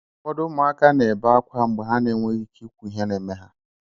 Ụfọdụ ụmụaka na-ebe ákwá mgbe ha na-enweghị ike ikwu ihe n'eme ha.